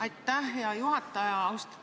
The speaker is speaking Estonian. Aitäh, hea juhataja!